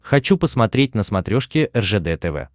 хочу посмотреть на смотрешке ржд тв